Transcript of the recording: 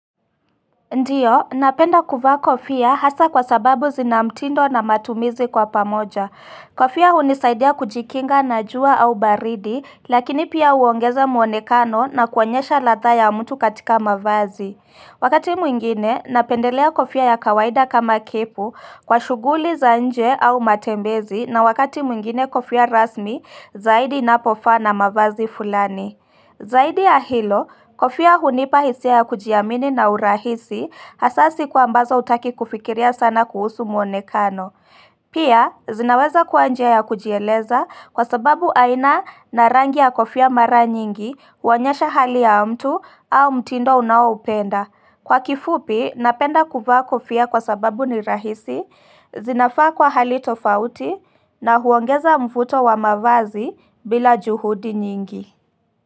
Ndio, napenda kuvaa kofia hasa kwa sababu zina mtindo na matumizi kwa pamoja. Kofia hunisaidia kujikinga na jua au baridi, lakini pia huongeza muonekano na kuonyesha ladha ya mtu katika mavazi. Wakati mwingine, napendelea kofia ya kawaida kama kipu kwa shughuli za nje au matembezi na wakati mwingine kofia rasmi zaidi napofa na mavazi fulani. Zaidi ya hilo, kofia hunipa hisia ya kujiamini na urahisi hasa siku ambazo hutaki kufikiria sana kuhusu mwonekano. Pia, zinaweza kuwa njia ya kujieleza kwa sababu aina na rangi ya kofia mara nyingi huonyesha hali ya mtu au mtindo unaoupenda. Kwa kifupi, napenda kuvaa kofia kwa sababu ni rahisi, zinafaa kwa hali tofauti na huongeza mvuto wa mavazi bila juhudi nyingi.